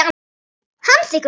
Hann þiggur það.